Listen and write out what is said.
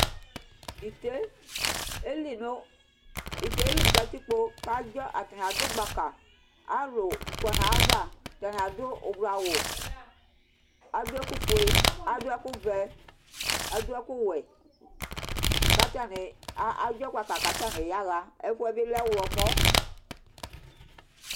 Ĩté yeli nu, ĩté yeli nu katikpo Ku adzɔ, atani aɖu gbaka Ãlu kɔ nu ayu ava Atani aɖu ublu awu Aɖu ɛku fue, aɖu ɛku wɛ, aɖu ɛku wɛ Ku atani a a aɖzɔ gbaka ku atani ya ɣa Ɛfuɛbi lɛ uwlɔmɔ